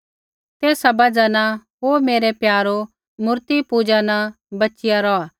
तेसा बजहा न ओ मेरै प्यारो मूर्तिपूजा न बचिया रौहा